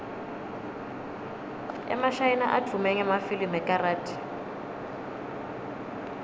emashayina advume ngemafilimu ekarathi